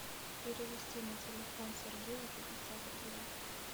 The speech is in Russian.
перевести на телефон сергея пятьдесят рублей